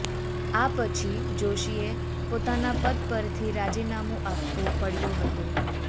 આ પછી જોશીએ પોતાના પદ પરથી રાજીનામું આપવું પડ્યું હતું